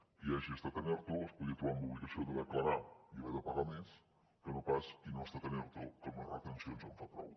qui hagi estat en erto es podia trobar amb l’obligació de declarar i haver de pagar més que no pas qui no ha estat en erto que amb les retencions en fa prou